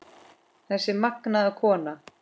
Þessi magnaða kona.